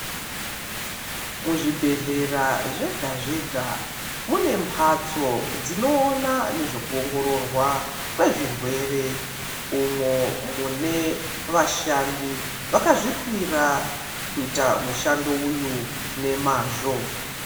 Muzvibhedhlera zvega zvega mune mbatso dzinoona nezvekuongororwa kwezvirwere, umwo mwune vashandi vakazvipira kuita mushando uyo nemazvo.